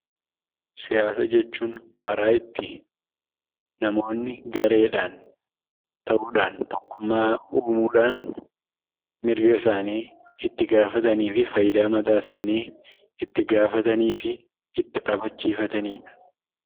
Siyaasa jechuun karaa itti namoonni gareedhaan ta'uudhaan tokkummaa uumuudhaan, mirga isaanii itti gaafatanii fi faayidaa mataa isaanii itti gaafatanii fi itti gaafachiifatanidha.